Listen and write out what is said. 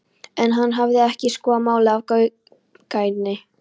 En hann hafði ekki skoðað málið af gaumgæfni.